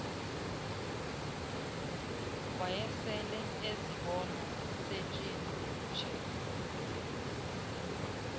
wayesele ezibona setshintshe